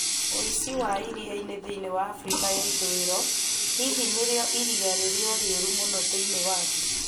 Ũici wa iriainĩ thĩinĩ wa Afrika ya ithũĩro: Hihi nĩrio iria rĩrĩa rĩũru mũno thĩinĩ wa thĩ?